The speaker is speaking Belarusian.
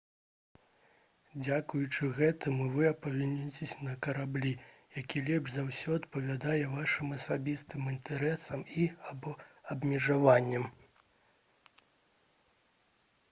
дзякуючы гэтаму вы апыняцеся на караблі які лепш за ўсё адпавядае вашым асабістым інтарэсам і або абмежаванням